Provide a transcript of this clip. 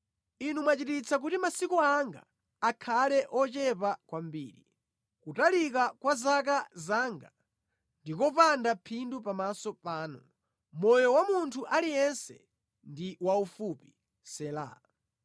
Inu mwachititsa kuti masiku anga akhale ochepa kwambiri, kutalika kwa zaka zanga ndi kopanda phindu pamaso panu; moyo wa munthu aliyense ndi waufupi. Sela